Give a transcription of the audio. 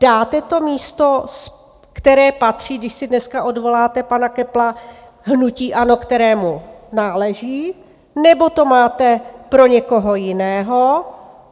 Dáte to místo, které patří, když si dneska odvoláte pana Köppla, hnutí ANO, kterému náleží, nebo to máte pro někoho jiného?